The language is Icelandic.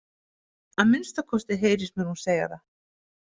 Að minnsta kosti heyrist mér hún segja það.